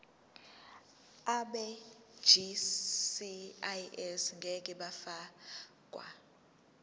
abegcis ngeke bafakwa